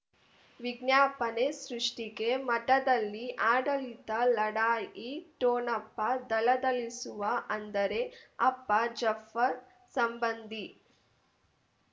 ವಿಜ್ಞಾಪನೆ ಸೃಷ್ಟಿಗೆ ಮಠದಲ್ಲಿ ಆಡಳಿತ ಲಢಾಯಿ ಠೋಣಪ ಧಳಧಳಿಸುವ ಅಂದರೆ ಅಪ್ಪ ಜಾಫರ್ ಸಂಬಂಧಿ